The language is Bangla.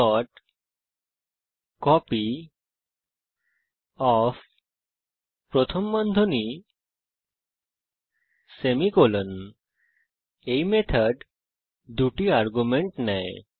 copyOfমার্কস 5 এই মেথড দুটি আর্গুমেন্ট নেয়